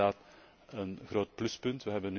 Dat is inderdaad een groot pluspunt.